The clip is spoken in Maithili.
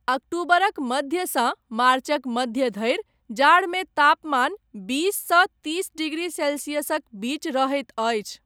अक्टूबरक मध्यसँ मार्चक मध्य धरि जाड़मे तापमान बीस सँ तीस डिग्री सेल्सियसक बीच रहैत अछि।